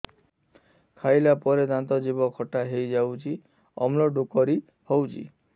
ଖାଇଲା ପରେ ଦାନ୍ତ ଜିଭ ଖଟା ହେଇଯାଉଛି ଅମ୍ଳ ଡ଼ୁକରି ହଉଛି